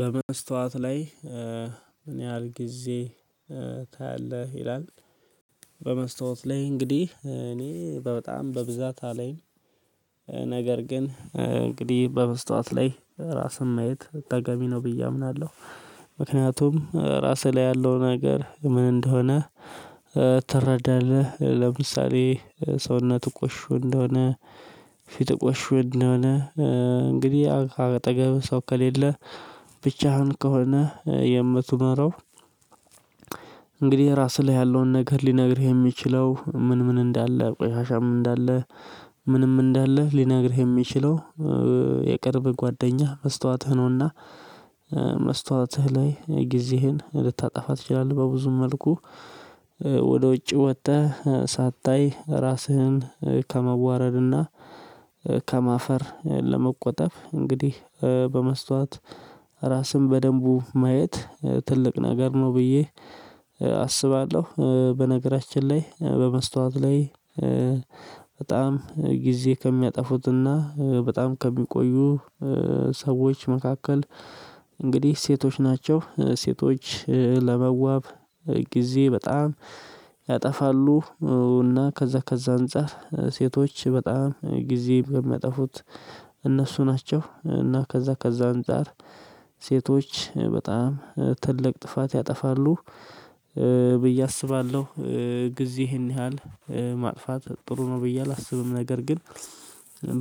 በመስታወት ላይ ምን ያህል ጊዜ ታያለህ? ይላል በመስታወት ላይ እንግዲህ እኔ በጣም በብዛት አላይም። ነገር ግን እንግዲህ በመስታወት ላይ ራስን ማየት ተገቢ ነው ብዬ አምናለሁ። ምክንያቱም ራስህ ላይ ያለው ነገር ምን እንደሆነ ትረዳለህ። ለምሳሌ ሰውነት ቆሽሾ እንደሆነ ፊት ቆሽሾ እንደሆነ እንግዲህ አጠገብ ሰው ከሌለ ብቻህን ከሆነ የምትመራው። እንግዲህ ራስህ ላይ ያለውን ነገር ሊነግርህ የሚችለው ምን ምን እንዳለ ቆሻሻም እንዳለ ምንም እንዳለ ሊነግርህ የሚችለው የቅርብ ጓደኛህ መስታወትህ ነውና። መስታወትህ ላይ ጊዜህን ልታጠፋ ትችላለህ በብዙም መልኩ። ወደ ውጪ ወጥተህ ሳታይ ራስህን ከመዋረድና ከማፈር ለመቆጠብ እንግዲህ በመስታወት ራስን በደንቡ ማየት ትልቅ ነገር ነው ብዬ አስባለሁ። በነገራችን ላይ በመስታወት ላይ በጣም ጊዜ ከሚያጠፉትና በጣም ከሚቆዩ ሰዎች መካከል እንግዲህ ሴቶች ናቸው። ሴቶች ለመዋብ ጊዜ በጣም ያጠፋሉ። እና ከዛ ከዛ አንፃር ሴቶች በጣም ጊዜ በሚያጠፉት እነሱ ናቸው። እና ከዛ ከዛ አንፃር ሴቶች በጣም ትልቅ ጥፋት ያጠፋሉ ብዬ አስባለሁ። ጊዜ ይህን ያህል ማጥፋት ጥሩ ነው ብዬ አላስብም። ነገር ግን